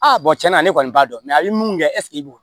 Aa tiɲɛna ne kɔni b'a dɔn a ye mun kɛ e b'o